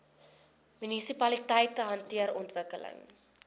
munisipaliteite hanteer ontwikkeling